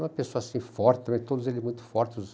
Uma pessoa ser forte, todos eles muito fortes.